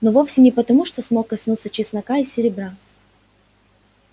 но вовсе не потому что смог коснуться чеснока и серебра